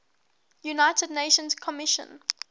united nations commission